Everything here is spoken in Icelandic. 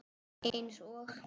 Eins og?